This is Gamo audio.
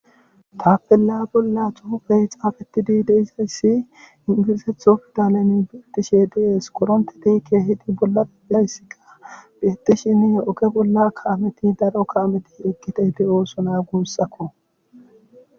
Tapella bolla xufey xaafetidi deizayssi ingilizetho fidaleni bietishe diees koronte tiikke hidi bollalayssika biettishini oge bollakka ameti darokka ameti eqqite hidi ooso naa guussakko.